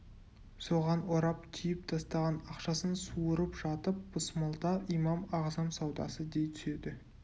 соған орап түйіп тастаған ақшасын суырып жатып бысмылда имам ағзам саудасы дей түседі